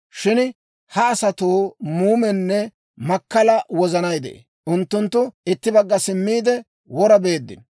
Shin ha asatoo muumenne makkala wozanay de'ee. Unttunttu itti bagga simmiide, wora beeddino.